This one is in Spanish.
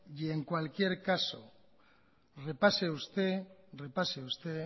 y en cualquier caso repase usted